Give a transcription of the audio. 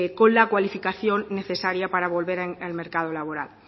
con la cualificación necesaria para volver al mercado laboral